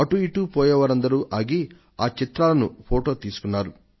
అటూ ఇటూ పోయేవారందరూ ఆగి ఈ చిత్రాలను ఫొటోలు తీసుకున్నారు